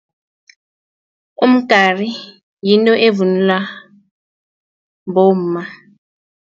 Umgari yinto evunulwa bomma.